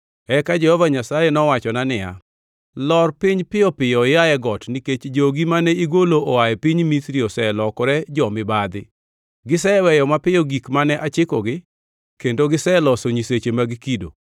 Eka Jehova Nyasaye nowachona niya, “Lor piny piyo piyo ia e got, nikech jogi mane igolo oa e piny Misri oselokore jo-mibadhi. Giseweyo mapiyo gik mane achikogi, kendo giseloso nyiseche mag kido.”